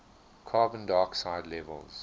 carbon dioxide levels